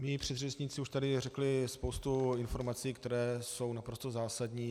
Mí předřečníci už tady řekli spoustu informací, které jsou naprosto zásadní.